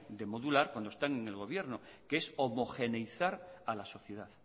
de modular cuando están en el gobierno que es homogeneizar a la sociedad